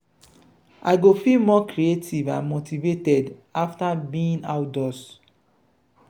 i go feel more creative and motivated after being outdoors.